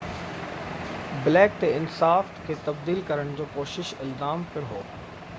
black تي انصاف کي تبديل ڪرڻ جي ڪوشش جو الزام پڻ هو